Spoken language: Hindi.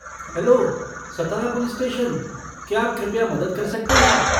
हैलो, सतारा पुलिस स्टेशन, क्या आप कृपया मदद कर सकते हैं?